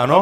Ano?